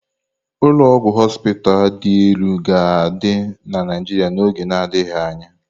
Ụlọ ọgwụ họspịz dị elu ga-adị na Naijiria n'oge na-adịghị anya.